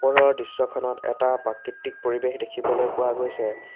ওপৰৰ দৃশ্যখনত এটা প্ৰাকৃতিক পৰিৱেশ দেখিবলৈ পোৱা গৈছে।